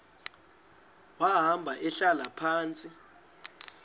wahamba ehlala phantsi